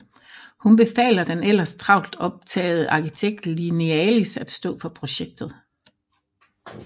Hun befaler den ellers travlt optagede arkitekt Linealis at stå for projektet